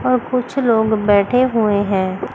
और कुछ लोग बैठे हुए हैं।